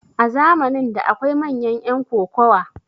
a zamanin da akwai manyan yan kokowa